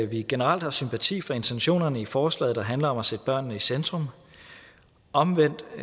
vi generelt har sympati for intentionerne i forslaget der handler om at sætte børnene i centrum omvendt